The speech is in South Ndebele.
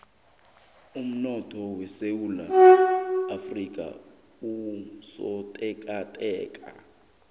umnotho wesewula afrika usotekateka